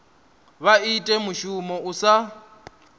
vha ita mushumo u sa